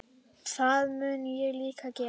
Það mun ég líka gera.